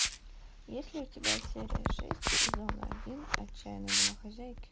есть ли у тебя серия шесть сезона один отчаянные домохозяйки